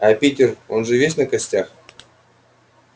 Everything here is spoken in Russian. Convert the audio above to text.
а питер он же весь на костях